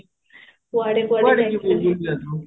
overalp